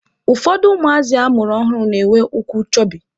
Ụfọdụ ụmụazị a mụrụ ọhụrụ na-enwe ụkwụ chọbị.